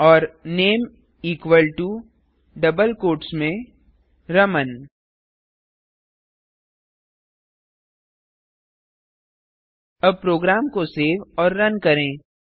और name equal to double quotes में रमन अब प्रोग्राम को सेव और रन करें